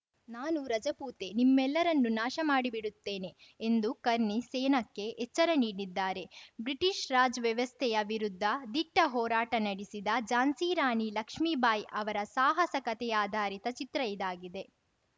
ನಾನೂ ರಜಪೂತೆ ನಿಮ್ಮೆಲ್ಲರನ್ನು ನಾಶಮಾಡಿ ಬಿಡುತ್ತೇನೆ ಎಂದು ಕರ್ಣಿ ಸೇನಾಕ್ಕೆ ಎಚ್ಚರ ನೀಡಿದ್ದಾರೆ ಬ್ರಿಟಿಷ್‌ ರಾಜ್‌ ವ್ಯವಸ್ಥೆಯ ವಿರುದ್ಧ ದಿಟ್ಟಹೋರಾಟ ನಡೆಸಿದ ಝಾನ್ಸಿ ರಾಣಿ ಲಕ್ಷ್ಮೀ ಬಾಯಿ ಅವರ ಸಾಹಸ ಕತೆಯಾಧಾರಿತ ಚಿತ್ರ ಇದಾಗಿದೆ